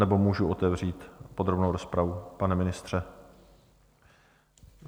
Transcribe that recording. Nebo můžu otevřít podrobnou rozpravu, pane ministře?